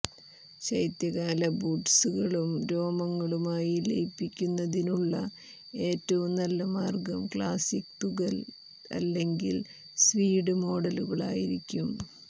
ശൈത്യകാല ബൂട്ട്കളും രോമങ്ങളുമായി ലയിപ്പിക്കുന്നതിനുള്ള ഏറ്റവും നല്ല മാർഗ്ഗം ക്ലാസിക്ക് തുകൽ അല്ലെങ്കിൽ സ്വീഡ് മോഡലുകളായിരിക്കും